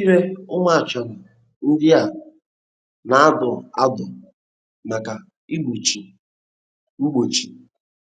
Ire ụmụ achara ndị a na-adọ adọ maka mgbochi mgbochi